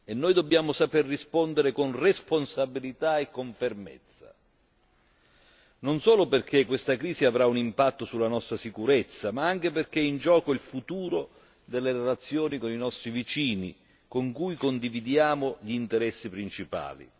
Noi dobbiamo saper rispondere con responsabilità e con fermezza, non solo perché questa crisi avrà un impatto sulla nostra sicurezza, ma anche perché è in gioco il futuro delle relazioni con i nostri vicini, con cui condividiamo gli interessi principali.